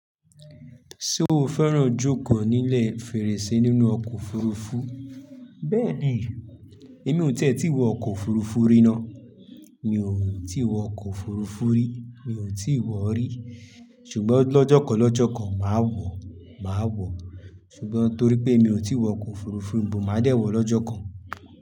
Ṣé o fẹ́ràn jókòó nílẹ̀ fèrèsé nínú ọkọ̀ òfurufú? Bẹ́ẹ̀ ni, èmi ò tí ì wọ ọkọ̀ òfurufú rí ná. Mi ò tí wọ ọkọ̀ òfurufú rí. Mi ò tí ì wọ rí. Ṣùgbọ́n lọ́jọ́ kan lọ́jọ́ kan má wọ, má wọ. Sùgbọ́n torí pé mio ti wọ ọkọ̀ ofurufu bọ ma dẹ wọ lọ́jọ́ kan.